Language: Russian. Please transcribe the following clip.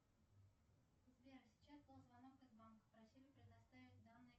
сбер сейчас был звонок из банка просили предоставить данные